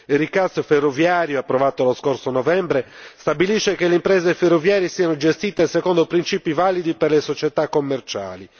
Il recast ferroviario, approvato lo scorso novembre, stabilisce che le imprese ferroviarie siano gestite secondo principi validi per le società commerciali.